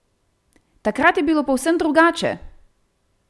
Takrat je bilo povsem drugače!